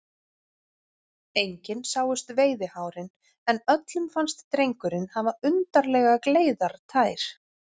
Engin sáust veiðihárin, en öllum fannst drengurinn hafa undarlega gleiðar tær.